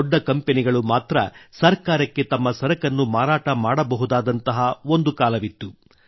ದೊಡ್ಡ ಕಂಪನಿಗಳು ಮಾತ್ರ ಸರ್ಕಾರಕ್ಕೆ ತಮ್ಮ ಸರಕನ್ನು ಮಾರಾಟ ಮಾಡಬಹುದಾದಂತಹ ಒಂದು ಕಾಲವಿತ್ತು